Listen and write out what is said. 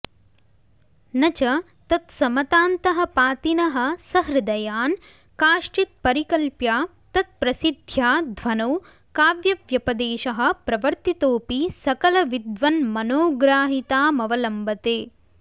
न च तत्समतान्तःपातिनः सहृदयान् कांश्चित्परिकल्प्य तत्प्रसिद्ध्या ध्वनौ काव्यव्यपदेशः प्रवर्तितोऽपि सकलविद्वन्मनोग्राहितामवलम्बते